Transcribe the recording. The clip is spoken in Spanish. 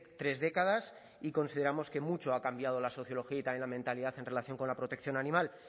tres décadas y consideramos que mucho ha cambiado la sociología y también la mentalidad en relación con la protección animal